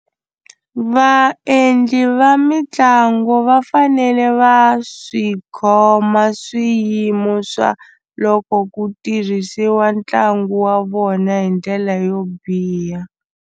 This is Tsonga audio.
Vaendli va mitlangu va fanele va swi khoma swiyimo swa loko ku tirhisiwa ntlangu wa vona hi ndlela yo biha.